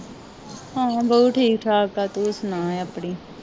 ਹਾਂ ਬਾਊ ਠੀਕ ਠਾਕ ਆ ਤੂੰ ਸੁਣਾ ਆਪਣੀ